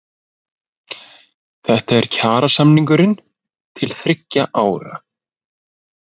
Þetta er kjarasamningurinn til þriggja ára